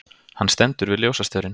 Hann stendur við ljósastaurinn.